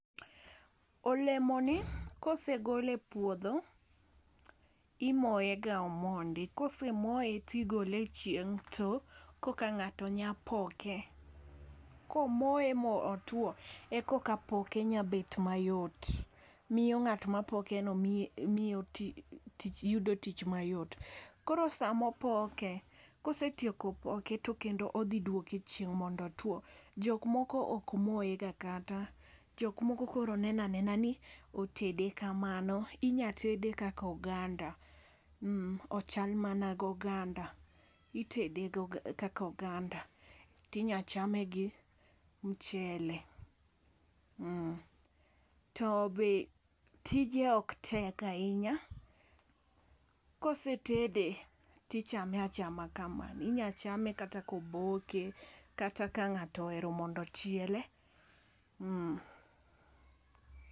Olemo ni kosegol e puodho imoye ga omondi kosemoye tigole e chieng' to koka ng'ato nya poke. Komoye motwo ekoka poke nya bet mayot, miyo ng'at mapoke no miyo yudo tich mayot. Koro samopoke kosetieko poke to kendo odhi duoke e chieng' mondo otwo. Jok moko ok moye ga kata jok moko koro nenanena ni otede kamano inya tede kako ganda, ochal mana go ganda itede go kaka oganda tinya chame gi mchele. To be tije ok tek ahinya kosetede tichame achama kamano inya chame kata koboke kata ka ng'ato ohero mondo ochiele.